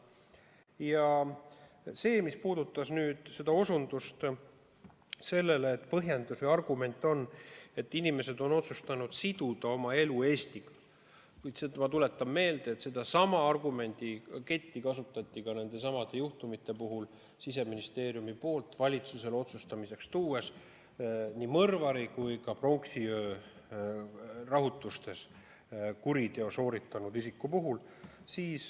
Ja mis puudutab seda põhjendust või argumenti, et inimesed on otsustanud siduda oma elu Eestiga, siis ma tuletan meelde, et sedasama argumenti kasutati ka nende juhtumite puhul, kui Siseministeerium tõi valitsusele otsustamiseks nii mõrvari kui ka pronksiöö rahutustes kuriteo sooritanud isiku taotluse.